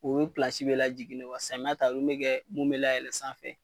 U bɛ bɛ la jiginnen samiya ta mun bɛ kɛ mun bɛ layɛlɛn sanfɛ.